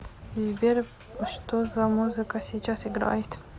сбер что за музыка сейчас играет